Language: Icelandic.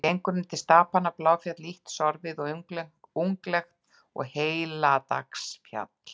Hún gengur undir stapana Bláfjall, lítt sorfið og unglegt, og Heilagsdalsfjall.